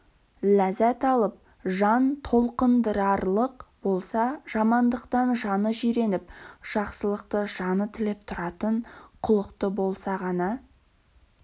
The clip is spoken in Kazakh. ләззат алып жан толқындырарлық болса жамандықтан жаны жиреніп жақсылықты жаны тілеп тұратын құлықты болса ғана